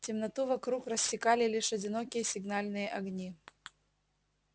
темноту вокруг рассекали лишь одинокие сигнальные огни